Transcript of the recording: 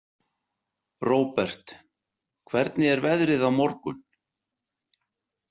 Robert, hvernig er veðrið á morgun?